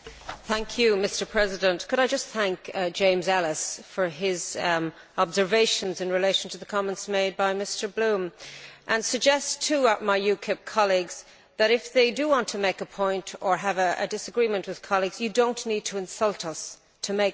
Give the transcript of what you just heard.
Mr President, could I just thank James Elles for his observations in relation to the comments made by Mr Bloom and suggest to my UKIP colleagues that, if they do want to make a point or have a disagreement with colleagues, they do not need to insult us to make that point.